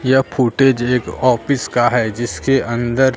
यह फुटेज एक आपीस का है जिसके अंदर--